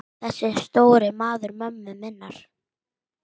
Þessi stóri maður mömmu minnar.